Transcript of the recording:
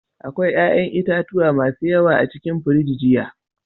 Akwai 'ƴa'ƴan itatuwa masu yawa a cikin firiji jiya.